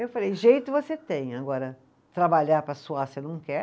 Eu falei, jeito você tem, agora trabalhar para suar você não quer